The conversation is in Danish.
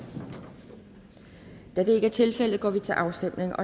da det ikke er tilfældet går vi til afstemning